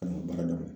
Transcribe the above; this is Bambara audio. An ka baaradaw